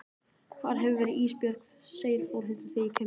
Hvar hefurðu verið Ísbjörg, segir Þórhildur þegar ég kem inn.